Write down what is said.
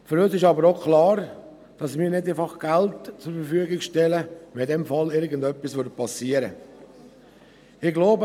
Für uns ist aber auch klar, dass wir nicht einfach Geld zur Verfügung stellen, weil irgendetwas passieren könnte.